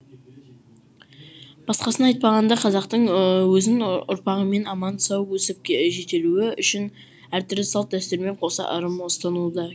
басқасын айтпағанда қазақтың өзін ұрпағымен аман сау өсіп жетілуі үшін әртүрлі салт дәстүрмен қоса ырым ұстануы да